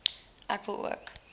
ek wil ook